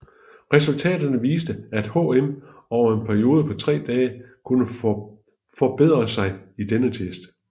Resultaterne viste at HM over en periode på 3 dage kunne forbedre sig i denne test